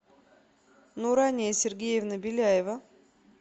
нурания сергеевна беляева